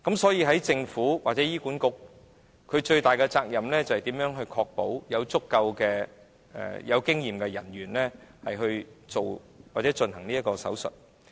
所以，政府或醫管局最大的責任，是如何確保有足夠具經驗的人員進行這類手術。